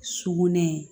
Sugunɛ